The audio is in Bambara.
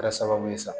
Kɛra sababu ye sa